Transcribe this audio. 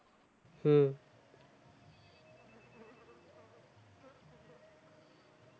হম